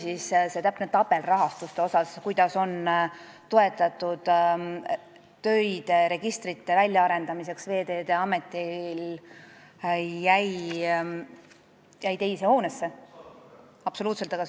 Nii et see täpne tabel rahastuse kohta, kuidas toetatakse Veeteede Ameti töid registrite väljaarendamiseks, jäi mul teise hoonesse.